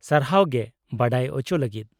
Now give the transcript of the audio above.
-ᱥᱟᱨᱦᱟᱣ ᱜᱮ ᱵᱟᱰᱟᱭ ᱚᱪᱚ ᱞᱟᱹᱜᱤᱫ ᱾